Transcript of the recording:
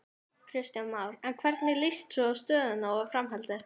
Kristján Már: En hvernig líst svo á stöðuna og framhaldið?